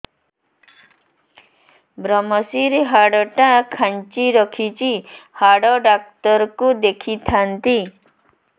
ଵ୍ରମଶିର ହାଡ଼ ଟା ଖାନ୍ଚି ରଖିଛି ହାଡ଼ ଡାକ୍ତର କୁ ଦେଖିଥାନ୍ତି